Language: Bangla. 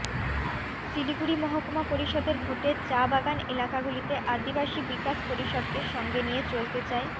শিলিগুড়ি মহকুমা পরিষদের ভোটে চা বাগান এলাকাগুলিতে আদিবাসী বিকাশ পরিষদকে সঙ্গে নিয়ে চলতে চায়